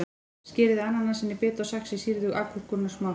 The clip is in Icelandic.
Skerið ananasinn í bita og saxið sýrðu agúrkurnar smátt.